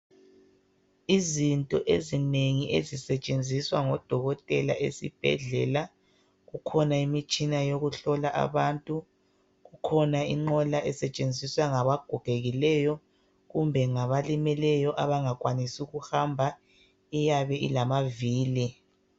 Izinto ezinengi ezisetshenziswa ngodokotela esibhedlela. Kukhona imitshina yokuhlola abantu. lkhona inqola esetshenziswa ngabagogekileyo kumbe ngabalimeleyo abangakwanisi ukuhamba ,iyabe ilamavili.